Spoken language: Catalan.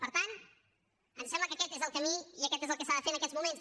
per tant ens sembla que aquest és el camí i aquest és el que s’ha de fer en aquests moments